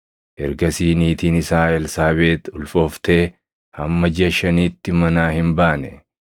Ergasii niitiin isaa Elsaabeex ulfooftee hamma jiʼa shaniitti manaa hin baane.